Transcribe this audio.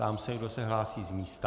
Ptám se, kdo se hlásí z místa.